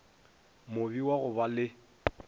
mobe wa go ba le